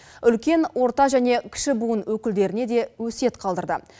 үлкен орта және кіші буын өкілдеріне де өсиет қалдырды